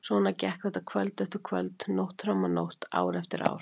Svona gekk þetta kvöld eftir kvöld, nótt fram af nótt, ár eftir ár.